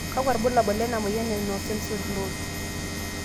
kakua irbulabol le moyian e no sensory loss.